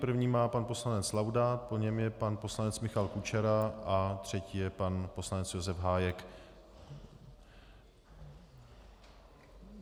První má pan poslanec Laudát, po něm je pan poslanec Michal Kučera a třetí je pan poslanec Josef Hájek.